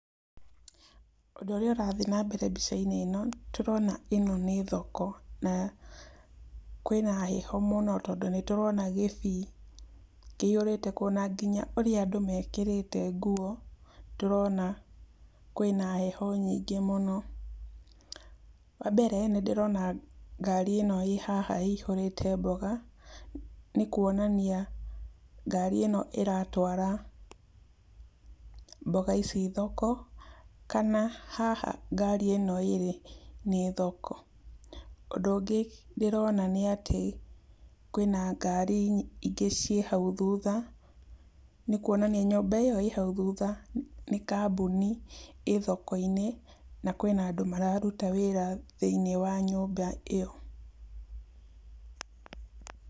ũndũ ũrĩa ũrathi nambere mbica-inĩ ĩno, tũrona ĩno nĩ thoko, na kwĩna heho mũno tondũ nĩ ndĩrona gĩbii kĩihũrĩte kuo, na nginya ũrĩa andũ mekĩrĩte nguo tũrona kwĩna heho nyingĩ mũno, wa mbere nĩ ndĩrona ngari ĩno ĩhaha ĩihũte mboga, nĩ kuonania ngari ĩno ĩratwara mboga ici thoko, kana haha ngari ĩno ĩrĩ nĩ thoko, ũndũ ũngĩ ndĩrona nĩatĩ kwĩna ngari ingĩ ciĩ hau thutha, nĩ kuonania nyũmba ĩyo ĩhau thutha, nĩ kambuni ĩ thoko-inĩ, na kwĩna andũ mararuta wĩra thĩiniĩ wa nyũmba ĩyo.